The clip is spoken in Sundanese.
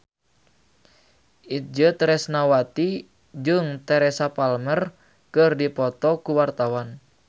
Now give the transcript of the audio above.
Itje Tresnawati jeung Teresa Palmer keur dipoto ku wartawan